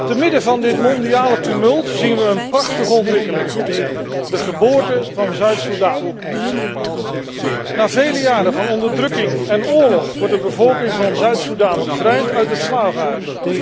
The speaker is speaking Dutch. Te midden van dit mondiale tumult zien wij een prachtige ontwikkeling de geboorte van Zuid Soedan. Na vele jaren van onderdrukking en oorlog wordt de bevolking van Zuid Soedan bevrijd uit het slavenhuis.